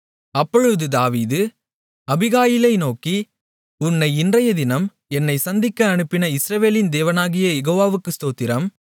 அப்பொழுது தாவீது அபிகாயிலை நோக்கி உன்னை இன்றையதினம் என்னைச் சந்திக்க அனுப்பின இஸ்ரவேலின் தேவனாகிய யெகோவாவுக்கு ஸ்தோத்திரம்